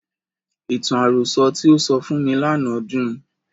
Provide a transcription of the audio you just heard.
Ìtàn àròsọ tí o sọ fún mi lánàá dùn.